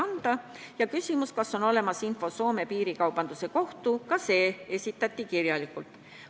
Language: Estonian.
Oli ka küsimus, kas on olemas info Soome piirikaubanduse kohta, ka see info esitati kirjalikult.